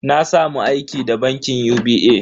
Na samu aiki da bankin UBA.